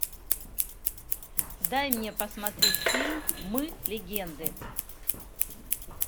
дай мне посмотреть фильм мы легенды